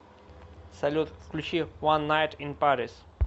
салют включи ван найт ин парис